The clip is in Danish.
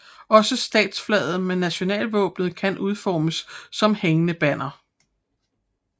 Også statsflaget med nationalvåbenet kan udformes som hængende banner